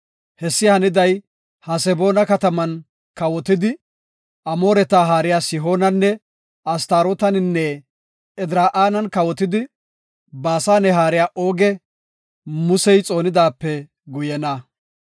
Hessi haniday Haseboona kataman kawotidi Amooreta haariya Sihoonanne Astarootaninne Edraa7an kawotidi Baasane haariya Ooge, Musey xoonidaape guyena.